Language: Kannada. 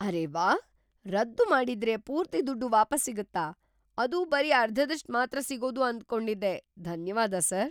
‌ಅರೇ ವಾಹ್! ರದ್ದು ಮಾಡಿದ್ರೆ ಪೂರ್ತಿ ದುಡ್ಡು ವಾಪಸ್ ಸಿಗತ್ತಾ, ಅದು ಬರೀ ಅರ್ಧದಷ್ಟ್ ಮಾತ್ರ ಸಿಗೋದು ಅಂದ್ಕೊಂಡಿದ್ದೆ. ಧನ್ಯವಾದ ಸಾರ್.